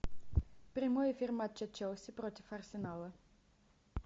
прямой эфир матча челси против арсенала